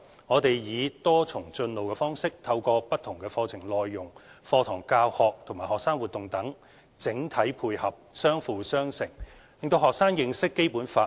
我們以"多重進路"方式，透過不同課程內容、課堂教學和學生活動等整體配合、相輔相成，讓學生認識《基本法》。